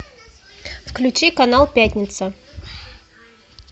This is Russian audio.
включи канал пятница